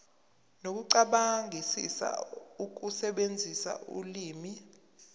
nokucabangisisa ukusebenzisa ulimi